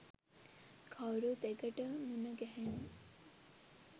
කවුරුත් එකට මුණ ගැහෙන්න